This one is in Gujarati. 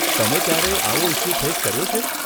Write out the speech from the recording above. તમે ક્યારેય આવો ઇસ્યુ ફેસ કર્યો છે?